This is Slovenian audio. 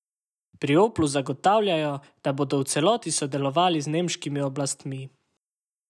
Pri Oplu zagotavljajo, da bodo v celoti sodelovali z nemškimi oblastmi.